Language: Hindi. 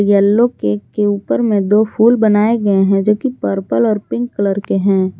येलो केक के ऊपर में दो फूल बनाए गए हैं जो कि पर्पल और पिंक कलर के हैं।